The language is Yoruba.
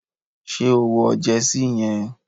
Ṣé o wọ jersey yẹn?